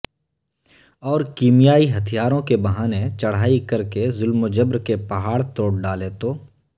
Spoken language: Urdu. اور کیمیائی ہتھیاروں کے بہانے چرھائی کرکے ظلم و جبر کے پہاڑ توڑ ڈالے تو